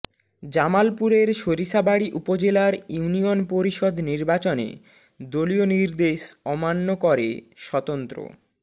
জামালপুরের সরিষাবাড়ী উপজেলার ইউনিয়ন পরিষদ নির্বাচনে দলীয় নির্দেশ অমান্য করে স্বতন্ত্র